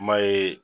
Ma ye